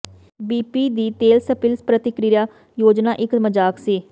B P ਦੀ ਤੇਲ spill ਪ੍ਰਤੀਕ੍ਰਿਆ ਯੋਜਨਾ ਇਕ ਮਜ਼ਾਕ ਸੀ